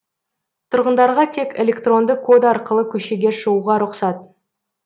тұрғындарға тек электронды код арқылы көшеге шығуға рұқсат